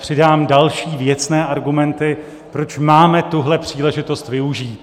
Přidám další věcné argumenty, proč máme tuhle příležitost využít.